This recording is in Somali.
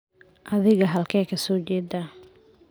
Adiga halkee ka soo jedaa?